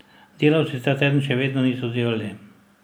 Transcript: Delavci ta teden še vedno niso delali.